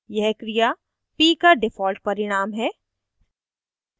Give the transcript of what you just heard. यह क्रिया p का default परिणाम है